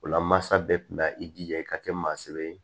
O la masa bɛɛ kun bɛ ka i jija i ka kɛ maa sɛbɛn ye